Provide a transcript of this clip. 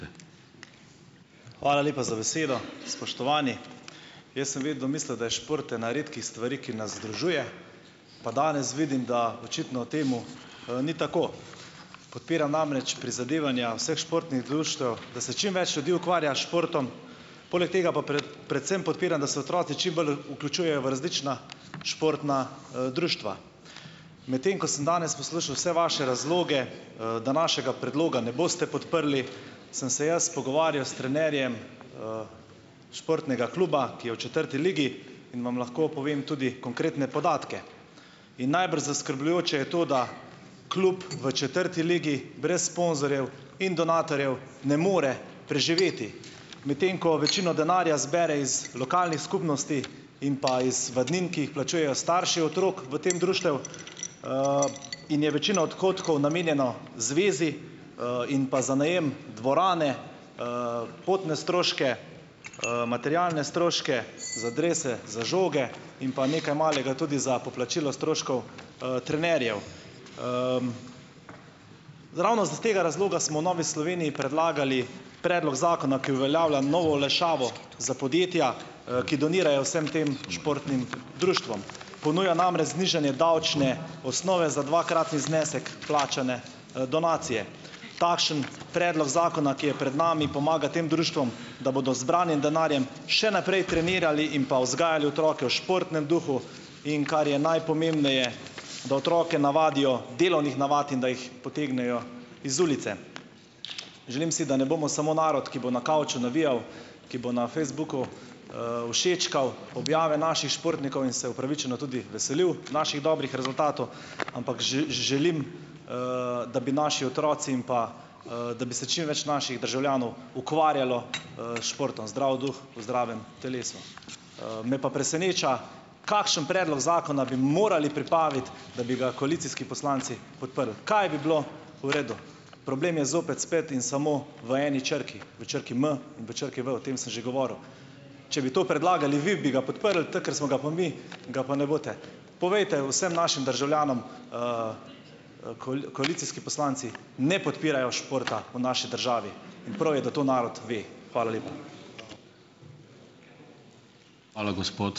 Hvala lepa za besedo , spoštovani. Jaz sem vedno mislil, da je šport ena redkih stvari, ki nas združuje, pa danes vidim, da očitno temu, ni tako . Podpiram namreč prizadevanja vseh športnih društev, da se čim več ljudi ukvarja s športom, poleg tega pa predvsem podpiram, da se otroci čim bolj vključujejo v različna športna, društva. Medtem ko sem danes poslušal vse vaše razloge, da našega predloga ne boste podprli , sem se jaz pogovarjal s trenerjem, športnega kluba, ki je v četrti ligi in vam lahko povem tudi konkretne podatke. In najbrž zaskrbljujoče je to, da klub v četrti ligi brez sponzorjev in donatorjev ne more preživeti. Medtem ko večino denarja zbere iz lokalnih skupnosti in pa iz vadnin, ki jih plačujejo starši otrok v tem društvu, in je večina odhodkov namenjeno zvezi, in pa za najem dvorane, potne stroške, materialne stroške, za drese, za žoge in pa nekaj malega tudi za poplačilo stroškov, trenerjev. ravno z tega razloga smo Novi Sloveniji predlagali predlog zakona, ki uveljavlja novo olajšavo za podjetja, ki donirajo vsem tem športnim društvom. Ponuja namreč znižanje davčne osnove za dvakratni znesek plačane, donacije. Takšen predlog zakona, ki je pred nami, pomaga tem društvom, da bodo zbranim denarjem še naprej trenirali in pa vzgajali otroke v športnem duhu, in kar je najpomembneje , da otroke navadijo delovnih navat in da jih potegnejo iz ulice. Želim si, da ne bomo samo narod, ki bo na kavču navijal, ki bo na Facebooku, všečkal objave naših športnikov in se upravičeno tudi veselil naših dobrih rezultatov , ampak želim, da bi naši otroci in pa, da bi se čim več naših državljanov ukvarjalo, s športom, zdrav duh v zdravem telesu. me pa preseneča, kakšen predlog zakona bi morali pripraviti , da bi ga koalicijski poslanci podprli. Kaj bi bilo v redu? Problem je zopet spet in samo v eni črki. V črki M, v črki V, o tem sem že govoril. Če bi to predlagali vi, bi ga podprli, tako ker smo ga pa mi, ga pa ne boste. Povejte vsem našim državljanom, koalicijski poslanci ne podpirajo športa v naši državi. Prav je, da to narod ve. Hvala lepa .